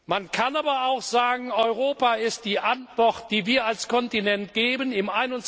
wollen. Man kann aber auch sagen Europa ist die Antwort, die wir als Kontinent